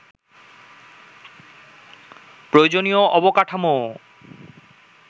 প্রয়োজনীয় অবকাঠামোও